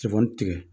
Sɛfan tigɛ